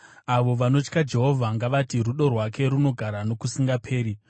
Avo vanotya Jehovha ngavati, “Rudo rwake runogara nokusingaperi.”